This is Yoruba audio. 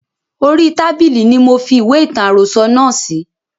Orí tábìlì ni mofi ìwé ìtàn àròsọ̀ náà sí